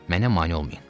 Mənə mane olmayın.